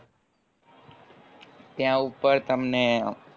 ત્યાં ઉપર તમને